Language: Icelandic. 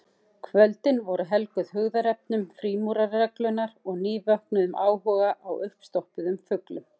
Kvöldin voru helguð hugðarefnum frímúrarareglunnar og nývöknuðum áhuga á uppstoppuðum fuglum.